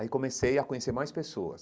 Aí comecei a conhecer mais pessoas.